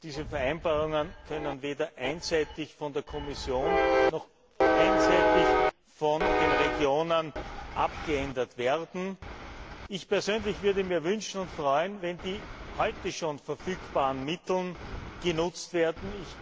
Diese Vereinbarungen können weder einseitig von der Kommission noch einseitig von den Regionen abgeändert werden. Ich persönlich würde mir wünschen und mich freuen, wenn die heute schon verfügbaren Mittel genutzt werden.